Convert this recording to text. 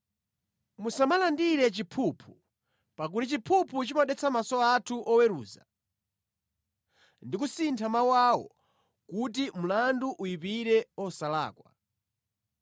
“Musamalandire chiphuphu, pakuti chiphuphu chimadetsa mʼmaso anthu oweruza ndi kusintha mawu awo kuti mlandu uyipire osalakwa.